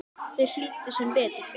Þeir hlýddu, sem betur fer